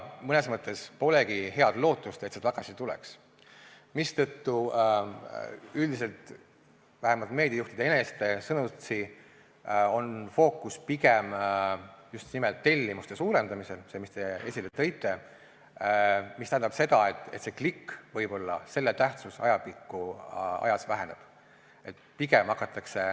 Mõnes mõttes polegi head lootust, et see tagasi tuleks, mistõttu üldiselt, vähemalt meediajuhtide enese sõnutsi on fookus pigem just nimelt tellimuste suurendamisel – sellel, mis te esile tõite –, mis tähendab seda, et kliki tähtsus võib ajapikku ajas väheneda.